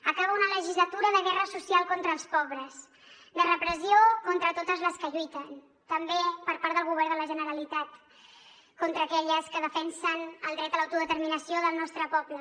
acaba una legislatura de guerra social contra els pobres de repressió contra totes les que lluiten també per part del govern de la generalitat contra aquelles que defensen el dret a l’autodeterminació del nostre poble